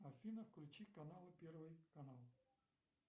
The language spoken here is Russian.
афина включи каналы первый канал